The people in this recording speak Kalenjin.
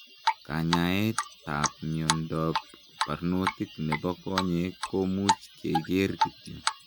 Kanyaet aap miondoop parnotiik nepoo konyeek komuuch kekeer kityo